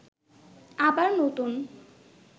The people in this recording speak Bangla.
আবার নতুন